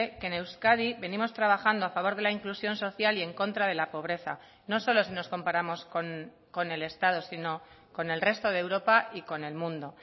que en euskadi venimos trabajando a favor de la inclusión social y en contra de la pobreza no solo si nos comparamos con el estado sino con el resto de europa y con el mundo